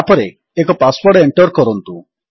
ତାପରେ ଏକ password enter କରନ୍ତୁ